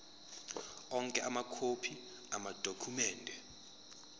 onke amakhophi amadokhumende